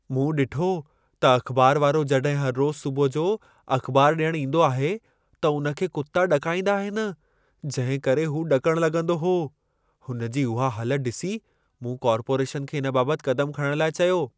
मूं ॾिठो त अख़बार वारो जॾहिं हर रोज़ सुबुह जो अख़बार ॾियण ईंदो आहे, त हुन खे कुता ॾकाईंदा आहिनि, जंहिं करे हू ॾकणु लॻंदो हो। हुनजी उहा हालत ॾिसी, मूं कॉर्पोरेशन खे इन बाबति क़दमु खणण लाइ चयो।